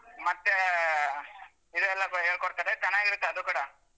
ಮತ್ತೇ ಇದೆಲ್ಲಾ ಹೇಳ್ಕೋಡ್ತಾರೆ ಚೆನ್ನಾಗಿರುತ್ತೆ ಅದು ಕೂಡಾ.